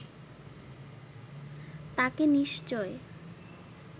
তাকে নিশ্চয়